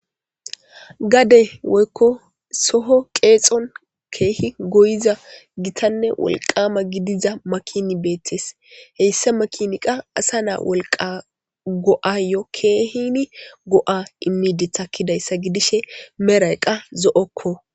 Gade woykko soho qeexon keehi goyiza gitanne wolqama gidiza makini beettes heyssa makini qa asa naa wolqa go7ayo keehini go'a immidi takkidayssa gidishe merayqqa zo'okko.